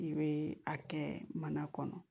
I bɛ a kɛ mana kɔnɔ